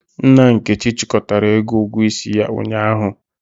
Nna Nkechi chịkọtara ego ugwuo isi ya ụnyahụ.